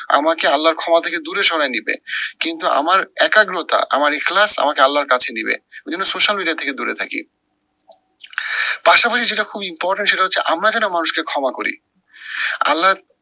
আমাকে আল্লার ক্ষমা থেকে দূরে সরায় নিবে। কিন্তু আমার একাগ্রতা আমার ইখলাস আমাকে আল্লার কাছে নিবে। এই জন্য social media থেকে দূরে থাকি। পাশাপাশি যেটা খুব important সেটা হচ্ছে আমরা যেটা মানুষকে ক্ষমা করি, আল্লার